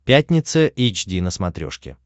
пятница эйч ди на смотрешке